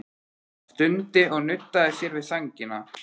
Hann stundi og nuddaði sér við sængina.